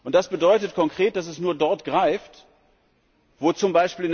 Das bedeutet konkret, dass es nur dort greift, wo z.